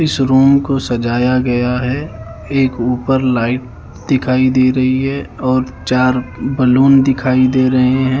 इस रूम को सजाया गया है एक ऊपर लाइट दिखाई दे रही है और चार बैलून दिखाई दे रहे है।